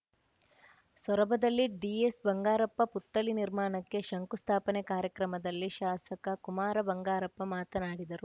ಸೊರಬದಲ್ಲಿ ದಿಎಸ್‌ಬಂಗಾರಪ್ಪ ಪುತ್ಥಳಿ ನಿರ್ಮಾಣಕ್ಕೆ ಶಂಕುಸ್ಥಾಪನೆ ಕಾರ್ಯಕ್ರಮದಲ್ಲಿ ಶಾಸಕ ಕುಮಾರ ಬಂಗಾರಪ್ಪ ಮಾತನಾಡಿದರು